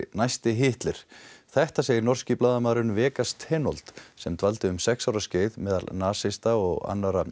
næsti Hitler þetta segir norski blaðamaðurinn Vegas sem dvaldi um sex ára skeið meðal nasista og annarra